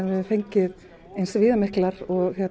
við höfum fengið eins